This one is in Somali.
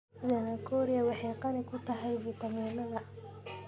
Zanakhoria waxay qani ku tahay fiitamiinnada.